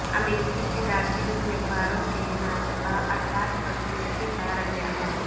امریکی صدارتی امیدوار کے نازیبا الفاظ پر ترکی کا رد عمل